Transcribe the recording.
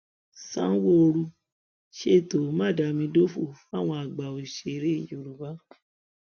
sanwóoru ṣètò mádàmídòfo fáwọn àgbà òṣèré yorùbá